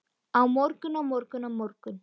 Á morgun, á morgun, á morgun.